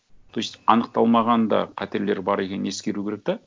то есть аңықталмаған да қатерлер бар екенің ескеру керек те